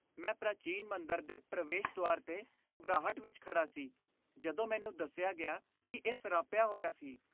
ਮੈਂ ਪ੍ਰਾਚੀਨ ਮੰਦਰ ਦੇ ਪ੍ਰਵੇਸ਼ ਦੁਆਰ 'ਤੇ ਘਬਰਾਹਟ ਵਿੱਚ ਖੜ੍ਹਾ ਸੀ ਜਦੋਂ ਮੈਨੂੰ ਦੱਸਿਆ ਗਿਆ ਕਿ ਇਹ ਸਰਾਪਿਆ ਹੋਇਆ ਸੀ।